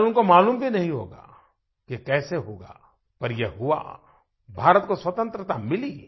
शायद उनको मालूम भी नहीं होगा ये कैसे होगा पर ये हुआ भारत को स्वतंत्रता मिली